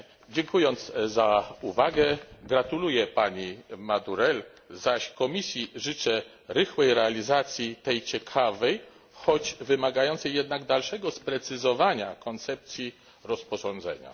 Dziękując za uwagę, gratuluję pani Madurell, zaś Komisji życzę rychłej realizacji tej ciekawej, choć wymagającej jednak dalszego sprecyzowania, koncepcji rozporządzenia.